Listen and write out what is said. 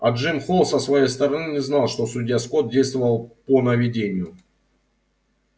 а джим холл со своей стороны не знал что судья скотт действовал по наведению